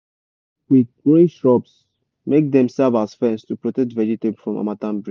plant quick quick growing shrubs make dem serve as fence to protect vegetable from harmattan breeze.